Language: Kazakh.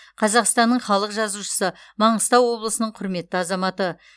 қазақстанның халық жазушысы маңғыстау облысының құрметті азаматы